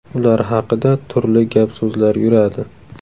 Ular haqida turli gap so‘zlar yuradi.